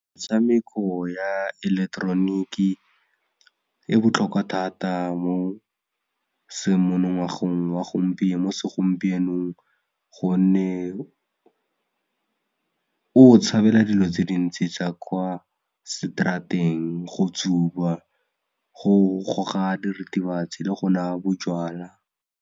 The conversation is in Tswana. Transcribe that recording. Metshameko ya eleketeroniki e botlhokwa thata mo semonongwagong wa gompieno mo segompienong gonne o tshabela dilo tse dintsi tsa kwa straat-eng go tsuba, go goga diritibatsi le go nwa bojalwa.